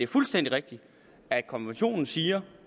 fuldstændig rigtigt at konventionen siger